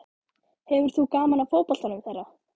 Hefur þú gaman af fótboltanum þeirra?